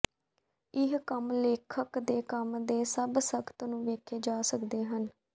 ਇਹ ਕੰਮ ਲੇਖਕ ਦੇ ਕੰਮ ਦੇ ਸਭ ਸਖਤ ਨੂੰ ਵੇਖੇ ਜਾ ਸਕਦੇ ਹਨ